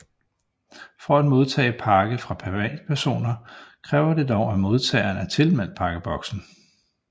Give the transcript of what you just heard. For at modtage pakke fra privatpersoner kræver det dog at modtageren er tilmeldt Pakkeboksen